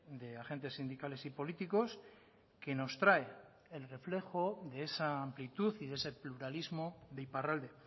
de agentes sindicales y políticos que nos trae el reflejo de esa amplitud y de ese pluralismo de iparralde